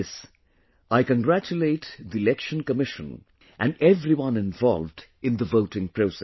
For this, I congratulate the Election Commission and everyone involved in the voting process